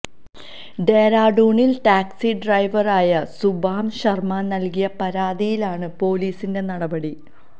ഡെറാഡൂണില് taxi ഡ്രൈവറായ സുബാം ശര്മ നല്കിയ പരാതിയിലാണ് പൊലീസിന്റെ നടപടി